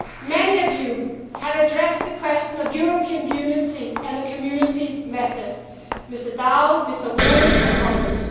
Many of you have addressed the question of European unity and the Community method Mr Daul, Mr Rohde and others.